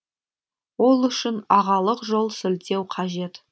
ол үшін ағалық жол сілтеу қажет